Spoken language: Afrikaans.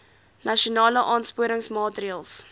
nasionale aansporingsmaatre ls